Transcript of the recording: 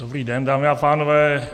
Dobrý den, dámy a pánové.